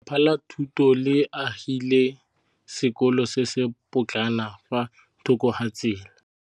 Lefapha la Thuto le agile sekôlô se se pôtlana fa thoko ga tsela.